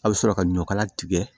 A bɛ sɔrɔ ka ɲɔ kala tigɛ